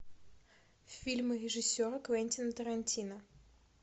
фильмы режиссера квентина тарантино